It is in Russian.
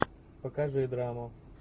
покажи драму